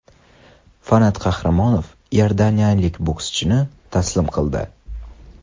Fanat Qahramonov iordaniyalik bokschini taslim qildi.